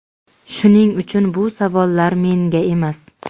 shuning uchun bu savollar menga emas.